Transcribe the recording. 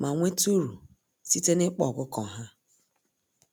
ma nweta uru site n'ịkpa ọkụkọ ha